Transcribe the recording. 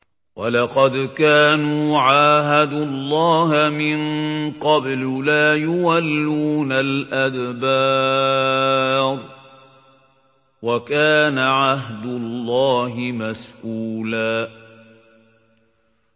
وَلَقَدْ كَانُوا عَاهَدُوا اللَّهَ مِن قَبْلُ لَا يُوَلُّونَ الْأَدْبَارَ ۚ وَكَانَ عَهْدُ اللَّهِ مَسْئُولًا